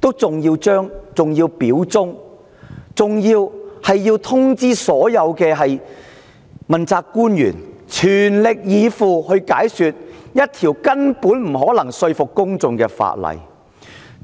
她還要表達忠心，還要所有問責官員全力以赴，解說一項根本不可能說服公眾的法案，